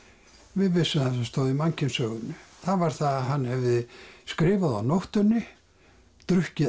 við vissum það sem stóð í mannkynssögunni það var það að hann hefði skrifað á nóttunni drukkið